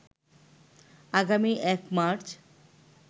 আগামী ১ মার্চ